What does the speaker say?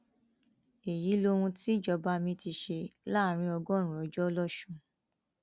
èyí lohun tíjọba mi ti ṣe láàrin ọgọrùnún ọjọ lọsùn